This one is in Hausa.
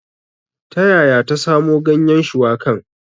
Ta yaya ta samo ganyen shuwakan?